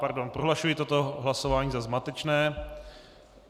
Pardon, prohlašuji toto hlasování za zmatečné.